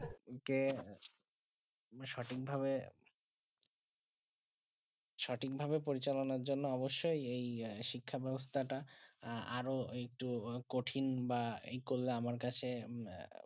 কে সঠিক ভাবে সঠিক ভাবে পরিচালনা জন্য অবশ্যই এই শিক্ষা ব্যবস্থাটা আরও একটু কঠিন বা এই করলে আমা কাছে